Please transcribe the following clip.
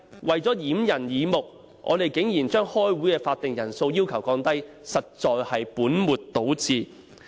為了掩人耳目，他們竟提議把開會的法定人數降低，實在是本末倒置。